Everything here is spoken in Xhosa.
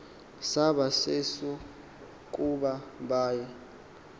saba sesokuba baya